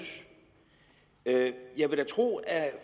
jeg vil da tro at